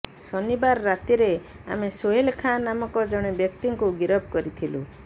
ଶନିବାର ରାତିରେ ଆମେ ସୋହେଲ ଖାଁ ନାମକ ଜଣେ ବ୍ୟକ୍ତିଙ୍କୁ ଗିରଫ କରିଥିଲୁ